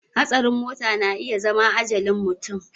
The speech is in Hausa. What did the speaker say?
Hatsarin mota na iya zama ajalin mutum